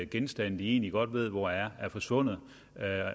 genstande de egentlig godt ved hvor er er forsvundet